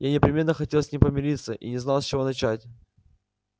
я непременно хотел с ним помириться и не знал с чего начать